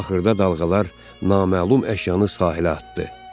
Axırda dalğalar naməlum əşyanı sahilə atdı.